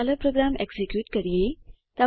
ચાલો program execute કરીએ